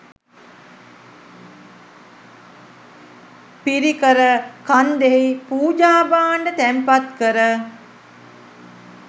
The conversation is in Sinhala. පිරිකර කන්දෙහි පූජා භාණ්ඩ තැන්පත් කර